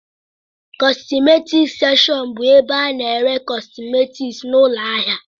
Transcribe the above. Kọsmetic sekshọn bụ ebe a ná-ere kọsmetics na ụlọ ahịa.